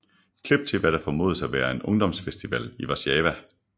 Klip til hvad der formodes at være en ungdomsfestival i Warszawa